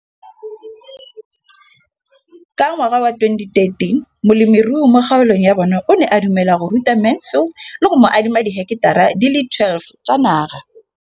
Ka ngwaga wa 2013, molemirui mo kgaolong ya bona o ne a dumela go ruta Mansfield le go mo adima di heketara di le 12 tsa naga.